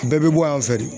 Bɛɛ bɛ bɔ yan fɛ de